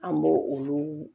An b'o olu